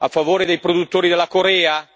A favore dei produttori della Corea?